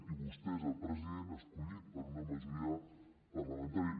i vostè és el president escollit per una majoria parlamentària